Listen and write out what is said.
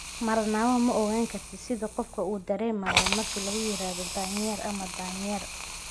"Marnaba ma ogaan kartid sida uu qof dareemayo marka loogu yeero daanyeer ama daanyeer.